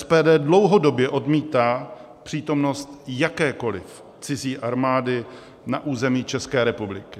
SPD dlouhodobě odmítá přítomnost jakékoliv cizí armády na území České republiky.